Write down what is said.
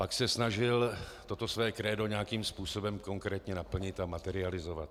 Pak se snažil toto své krédo nějakým způsobem konkrétně naplnit a materializovat.